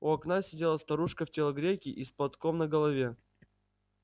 у окна сидела старушка в телогрейке и с платком на голове